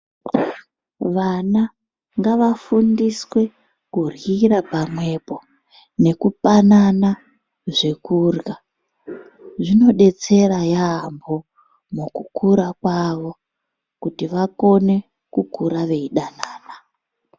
Vana ngavafundiswe kurhyira pamwepo nekupanana zvekurhya zvinodetsera yaambho mukukura kwavo kuti vakone kukura veidanana.